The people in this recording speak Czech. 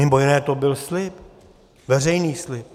Mimo jiné to byl slib, veřejný slib.